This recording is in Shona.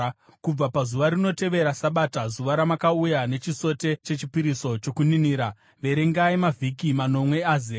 “ ‘Kubva pazuva rinotevera Sabata, zuva ramakauya nechisote chechipiriso chokuninira, verengai mavhiki manomwe azere.